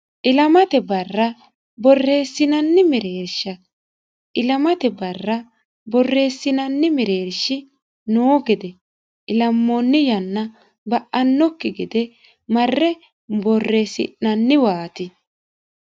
ilamate barra borreesinanni mereersha ilamate barra borreesinanni meereershi noo gede ilaammoonni yanna ba'aakki gede marre borreesi'nannuwaati